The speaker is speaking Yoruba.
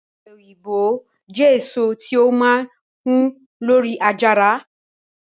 ope oyinbo jẹ eso ti o maa hu lori ajara